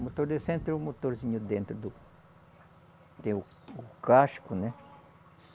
O motor de centro é o motorzinho dentro do. Tem o o casco, né?